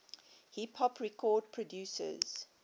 hip hop record producers